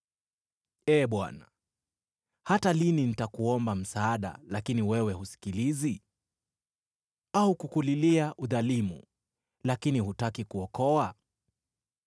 Ee Bwana , hata lini nitakuomba msaada, lakini wewe husikilizi? Au kukulilia, “Udhalimu!” Lakini hutaki kuokoa?